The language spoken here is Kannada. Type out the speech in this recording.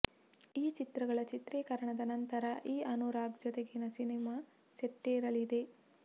ಈ ಚಿತ್ರಗಳ ಚಿತ್ರೀಕರಣದ ನಂತರ ಈ ಅನುರಾಗ್ ಜೊತೆಗಿನ ಸಿನಿಮಾ ಸೆಟ್ಟೇರಲಿದೆ